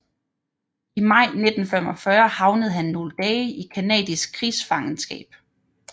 I maj 1945 havnede han nogle dage i canadisk krigsfangeskab